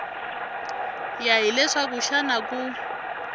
ya hi leswaku xana ku